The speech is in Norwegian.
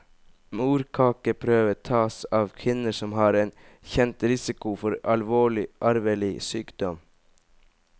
Morkakeprøve tas av kvinner som har en kjent risiko for alvorlig arvelig sykdom.